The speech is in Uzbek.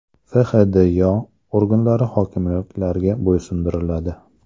FHDYo organlari hokimliklarga bo‘ysundiriladi.